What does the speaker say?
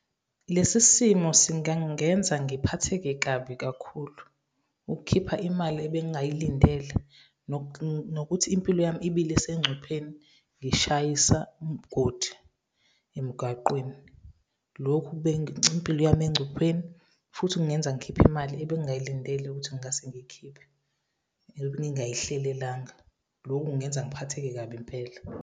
Lesi simo singangenza ngiphatheke kabi kakhulu, ukukhipha imali ebengayilindele, nokuthi impilo yami ibilisengcupheni. Ngishayisa umgodi emgaqweni. Lokhu impilo yami engcupheni, futhi kungenza ngikhiphe imali ebengayilindele ukuthi ngase ngiy'khiphe, entwini engayihlelelanga. Lokhu kungenza ngiphatheke kabi impela.